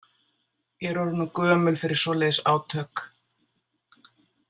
Ég er orðin of gömul fyrir svoleiðis átök.